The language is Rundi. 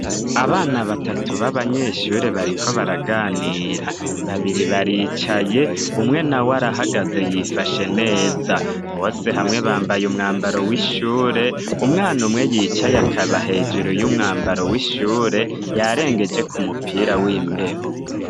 Abana batatu b'abanyeshure bariko baraganira, babiri baricaye umwe naw'arahagaze yifashe neza, bose hamwe bambay'umwambaro w'ishure, umwan' umwe yicaye akaba hejuru y'umwambaro w'ishure, yarengejek'umupira w'imbeho.